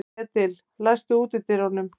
Edil, læstu útidyrunum.